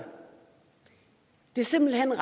det simpelt hen er